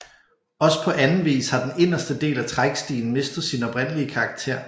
Også på anden vis har den inderste del af Trækstien mistet sin oprindelige karakter